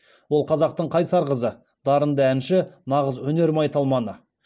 ол қазақтың қайсар қызы дарынды әнші нағыз өнер майталманы